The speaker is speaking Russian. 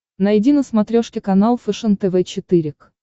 найди на смотрешке канал фэшен тв четыре к